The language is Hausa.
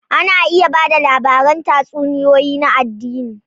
Ana iya ba da labaran tatsuniyoyi na addini.